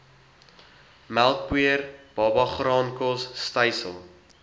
melkpoeier babagraankos stysel